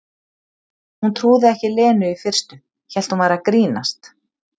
Hún trúði ekki Lenu í fyrstu, hélt hún væri að grínast.